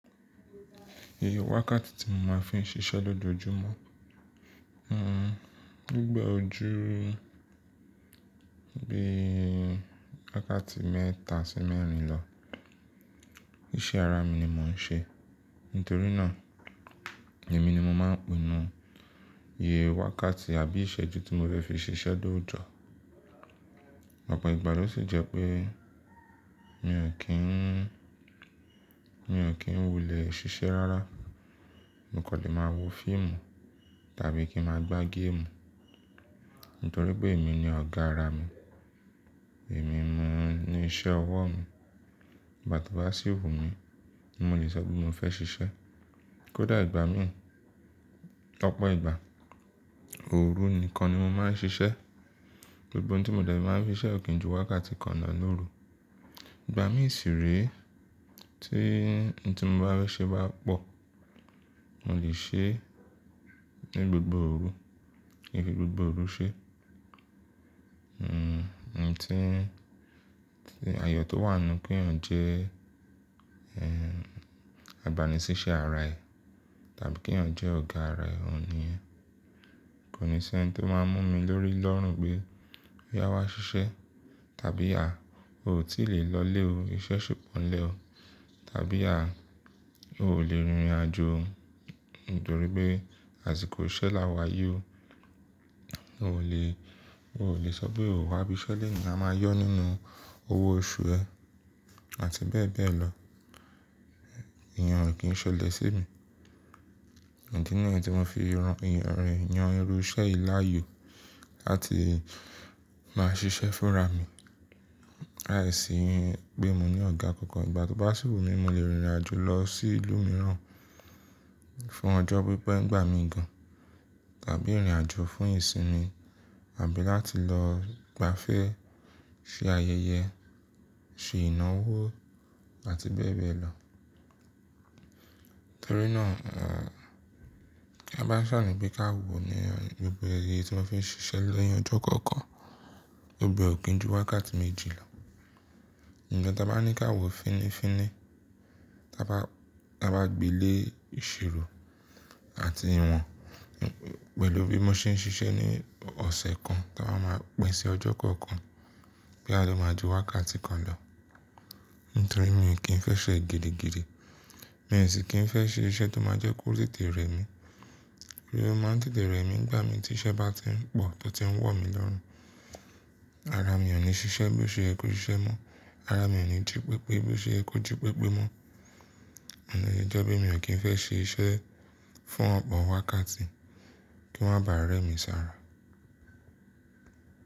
Iye wákàtí tí mo máa ń fi ń ṣiṣẹ́ lójoojúmọ́, hmmm gbogbo e ojúú bí i wákàtí mẹ́ta sí mẹ́rin lọ. Iṣẹ́ ara mi ni mò ń ṣe, nítorí náà èmi ni mo máa ń pinu iye wákàtí àbí ìṣẹ́jú tí mo lẹ́ fi ṣiṣẹ́ dójọ. Ọ̀pọ̀ ìgbà ló sì jẹ́ pé mi ò kí ń, mi ò kí ń wulẹ̀ ṣiṣẹ́ rárá. Mo kò lè máa wo fíìmù tàbí kí ń máa gbá game, nítorí pé èmi ni ọ̀gá ara mi. Ẹ̀mí mi ni iṣẹ́ ọwọ́ mi. Igbà tí ó bá síwù mi, ni mo lè sọ pé mo fẹ́ ṣiṣẹ́. Kódà ìgbà míì, ọ̀pọ̀ ìgbà, òru nìkan ni mo máa ń ṣiṣẹ́. Gbogbọ n tí mo de máa ń fi ṣiṣẹ́ ò kí ń ju wákàtí kan náà lóru. Ìgbà míì sì re, tí n tí mo bá fẹ́ ṣe bá pọ̀, mo lè ṣe ní gbogbo òru, kin fi gbogbo òru ṣe. Hmmm n tí, tí àyọ̀ tó wà nù kí èèyàn jẹ́, ẹ́ń, agbanisiṣẹ́ ara ẹ̀ tàbí kí èèyàn jẹ́ ọ̀gá ara ẹ̀ òun níyen. Kò ní ṣe ẹni tó máa ń mú mi lórí lọ́rùn pé, "ya wá ṣiṣẹ́" tàbí "à, o ò tí lè lọlé o, iṣẹ́ ṣì pọ̀nlẹ̀ o" tàbí "à, o ò lè rìnrìnàjò nítorí pé àsìkò iṣẹ́ lá wayi o. O ò lè, o ò lè sọ pé o wá bí iṣẹ́ lè ní máa yọ nínú owó oṣù ẹ" àti bẹ́ẹ̀ bẹ́ẹ̀ lọ. Ẹ̀, èèyàn ò kí ń ṣẹlẹ̀ sí mi. Idì ni èyí tí wọn fi rán yàn irú iṣẹ́ yìí láàyò láti máa ṣiṣẹ́ fúnra mi. Lài sì pé mo ní ọ̀gá kankan, igbà tí ó bá síwù mi, mo lè rìnrìnàjò lọ sí ìlú mìíràn fún ọjọ́ pípẹ́ ni gbà mí gan tàbí rìnrìnàjò fún ìsinmi àbí láti lọ gbafẹ́, ṣe ayẹyẹ, ṣe ìnáwó àti bẹ́ẹ̀ bẹ́ẹ̀ lọ. Torí náà, à, kí a bá sàni pé káwo ni gbogbo iye tí wọ́n fi ń ṣiṣẹ́ ni ọjọ́ kọ̀ọ̀kan, ó gbẹ́ ò kí ń ju wákàtí méjì lọ. Nkan ta a bá ní kí a wò fínnífínní, tí a bá, tí a bá gbeelé ìṣirò àti ìwọ̀n pẹ̀lú bí mo ṣe ń ṣiṣẹ́ ní ọ̀sẹ̀ kan tía ba máa pin sí ọjọ́ kọ̀ọ̀kan, boya lọ máa ju wákàtí kan lọ. Nítorí mi ò kín fẹ́ ṣẹ́ girigiri. Mi ò sì kín fẹ́ ṣe iṣẹ́ tó máa jẹ́ kó tètè rẹ́ mi. Bí o máa ń tètè rẹ́ mi nígbà mi tí iṣẹ́ bá ti ń pọ̀ tọ tí ń wọ̀ mí lọ́rùn. Ara mi ò ní ṣiṣẹ́ bí o ṣẹ́ yẹ ko ṣiṣẹ́ mọ́. Ara mi ò ní jí pépé bí o ṣẹ́ yẹ ko jí pépé mọ́. Nìí jẹ́ ọ̀jo mi ò kín fẹ́ ṣe iṣẹ́ fún ọ̀pọ̀ wákàtí kí wọ́n máa bà rẹ́ mi sára.